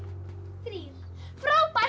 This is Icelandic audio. þrír frábært